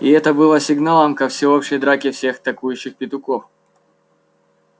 и это было сигналом ко всеобщей драке всех токующих петухов